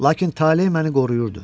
Lakin tale məni qoruyurdu.